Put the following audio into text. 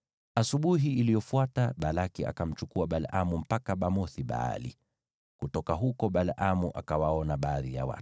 Asubuhi iliyofuata Balaki akamchukua Balaamu mpaka Bamoth-Baali, na kutoka huko Balaamu akawaona baadhi ya watu.